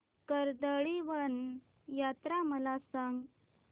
कर्दळीवन यात्रा मला सांग